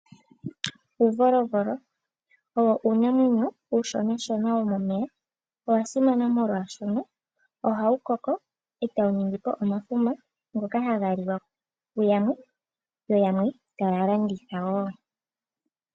Uuvolovolo owo uunamenyo uushonashona, wo momeya. Owa simana molwaashoka oha wu koko e ta wu ningi po omafuma ngoka ha ga liwa ku yamwe, yo yamwe ta ya landitha wo.